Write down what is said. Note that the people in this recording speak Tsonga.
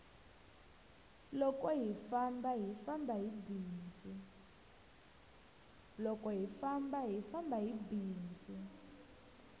loko hi famba hi famba hi bindzu